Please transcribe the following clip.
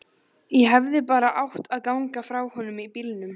Ég hefði bara átt að ganga frá honum í bílnum.